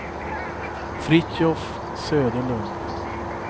Fritiof Söderlund